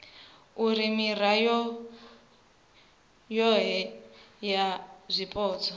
uri mirao yohe ya zwipotso